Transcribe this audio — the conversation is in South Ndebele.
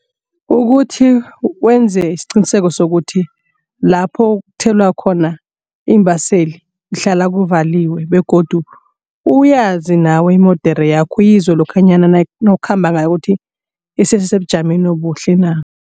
Ukuthi wenze isiqiniseko sokuthi lapho kuthelwa khona iimbaseli kuhlala kuvaliwe begodu uyazi nawo imodere yakho uyizwe lokhanyana nawukhamba ngayo ukuthi isesesebujameni obuhle na.